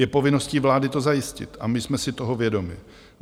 Je povinností vlády to zajistit a my jsme si toho vědomi.